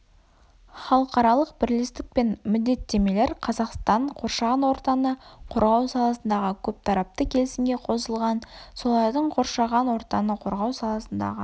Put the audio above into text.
халықаралық бірлестік пен міндеттемелер қазақстан қоршаған ортаны қорғау саласындағы көптарапты келісімге қосылған солардың қоршаған ортаны қорғау саласындағы